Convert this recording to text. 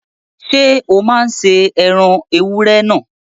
Ṣé o máa se ẹran ewúrẹ́ náà?